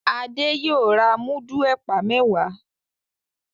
Ade yóò rà mudu ẹpa mẹwa